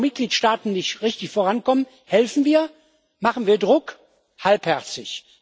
Da, wo Mitgliedstaaten nicht richtig vorankommen, helfen wir, machen wir Druck halbherzig.